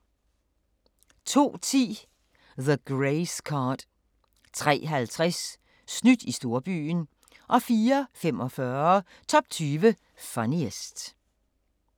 02:10: The Grace Card 03:50: Snydt i storbyen 04:45: Top 20 Funniest